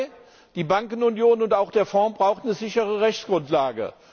Punkt zwei Die Bankenunion und auch der Fonds brauchen eine sichere Rechtsgrundlage.